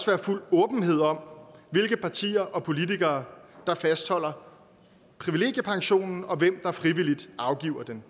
være fuld åbenhed om hvilke partier og politikere der fastholder privilegiepensionen og hvem der frivilligt afgiver den